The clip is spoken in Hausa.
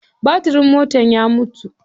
Batirin motar ya mutu.